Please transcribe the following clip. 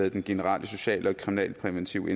i den generelle sociale og kriminalpræventive